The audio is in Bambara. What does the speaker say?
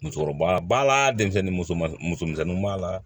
Musokɔrɔba b'a la denmisɛnnin musoman muso misɛnninw b'a la